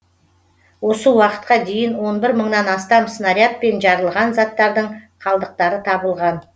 осы уақытқа дейін он бір мыңнан астам снарядпен жарылған заттардың қалдықтары табылған